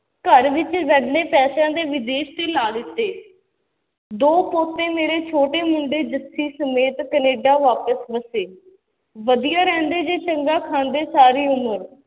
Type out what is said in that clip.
ਘਰ ਵਿੱਚ ਰਹਿੰਦੇ ਪੈਸਿਆਂ ਦੇ ਵਿਦੇਸ਼ ਤੇ ਲਾ ਦਿੱਤੇ, ਦੋ ਪੋਤੇ ਮੇਰੇ ਛੋਟੇ ਮੁੰਡੇ ਜੱਸੀ ਸਮੇਤ ਕਨੇਡਾ ਵਾਪਸ ਵਸੇ, ਵਧੀਆ ਰਹਿੰਦੇ ਜੇ ਚੰਗਾ ਖਾਂਦੇ ਸਾਰੀ ਉਮਰ,